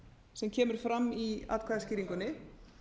sem kemur fram í atkvæðaskýringunni